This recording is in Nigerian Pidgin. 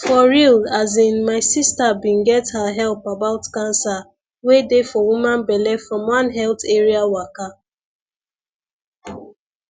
for real asinmy sister bin get her help about cancer wey dey for woman belle from one health area waka